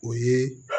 O ye